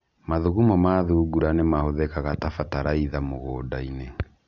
Mathugumo ma thungura nĩ mahũthĩkaga ta bataraitha mũgũnda-inĩ.